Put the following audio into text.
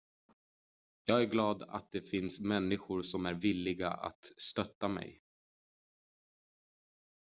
jag är glad att det finns människor som är villiga att stötta mig